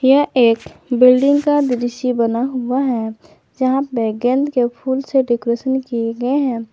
यह एक बिल्डिंग का दृश्य बना हुआ है यहां पे गेंद के फूल से डेकोरेशन किए गए हैं।